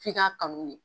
F'i k'a kanu de